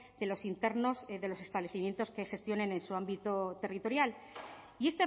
de los internos de los establecimientos que gestionen en su ámbito territorial y